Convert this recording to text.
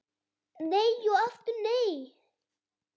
Nei og aftur nei